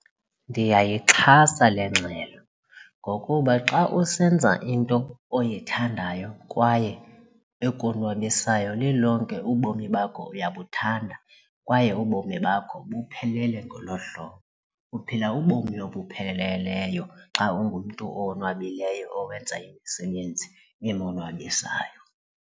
Ndiyayixhasa le ngxelo ngokuba xa usenza into oyithandayo kwaye ekonwabisayo lilonke ubomi bakho uyabuthanda kwaye ubomi bakho buphelele ngolo hlobo uphila ubomi obupheleleyo xa ungumntu owonwabileyo owenza imisebenzi emonwabisayo.